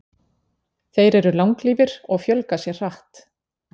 Þeir eru langlífir og fjölga sér hratt.